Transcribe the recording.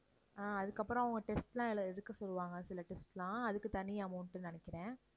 அஹ் அதுக்கப்புறம் அவங்க test எல்லாம் எல~ எடுக்கச் சொல்லுவாங்க சில test எல்லாம் அதுக்கு தனி amount நினைக்கிறேன்.